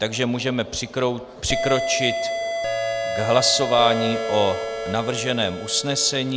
Takže můžeme přikročit k hlasování o navrženém usnesení.